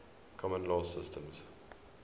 common law systems